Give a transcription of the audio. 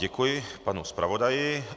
Děkuji panu zpravodaji.